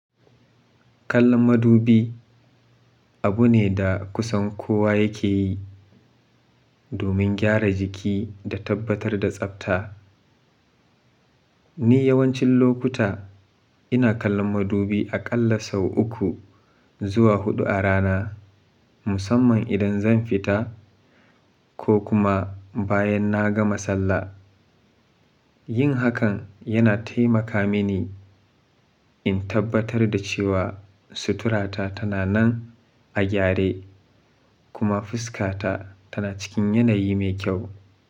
Kallon madubi abu ne da kusan kowa yake yi domin gyara jiki da tabbatar da tsabta. Ni yawancin lokuta ina kallon madubi aƙalla sau uku zuwa huɗu a rana, musamman idan zan fita ko kuma bayan na gama sallah. Yin hakan yana taimaka mini in tabbatar da cewa suturata tana nan a gyare kuma fuskata tana cikin yanayi mai kyau.